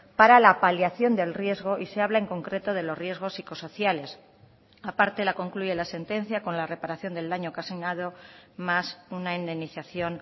para la paliación del riesgo y se habla en concreto de los riesgos psicosociales aparte la concluye la sentencia con la reparación del daño ocasionado más una indemnización